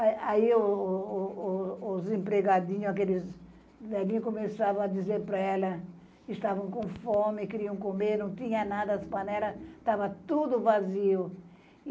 É. Aí o o o os empregadinhos, aqueles velhinhos, começavam a dizer para ela que estavam com fome, queriam comer, não tinha nada, as panelas estava tudo vazias.